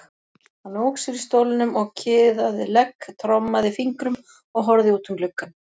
Hann ók sér í stólnum og kiðaði legg, trommaði fingrum og horfði út um gluggann.